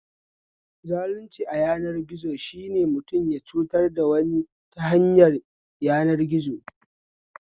Zalunci ayanar gizo shine mutum ya cutar da wani ta hanyar yanar gizo